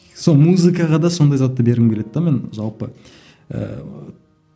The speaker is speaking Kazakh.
сол музыкаға да сондай затты бергім келеді де мен жалпы ыыы